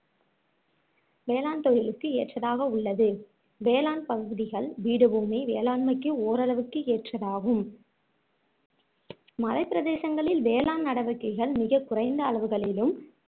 வேளாண் தொழிலுக்கு ஏற்றதாக உள்ளது வேளாண் பகுதிகள் பீடபூமி வேளாண்மைக்கு ஓரளவுக்கு ஏற்றதாகும் மலை பிரதேசங்களில் வேளாண் நடவடிக்கைகள் மிகக்குறைந்த அளவுகளிலும்